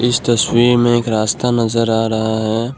इस तस्वीर में एक रास्ता नजर आ रहा है।